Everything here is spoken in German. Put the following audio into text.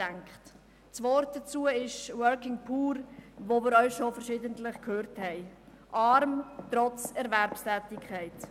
Das Wort dazu ist «Working Poor», das wir auch schon verschiedentlich gehört haben: arm, trotz Erwerbstätigkeit.